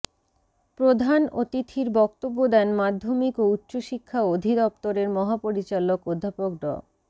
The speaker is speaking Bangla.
প্রধান অতিথির বক্তব্য দেন মাধ্যমিক ও উচ্চশিক্ষা অধিদপ্তরের মহাপরিচালক অধ্যাপক ড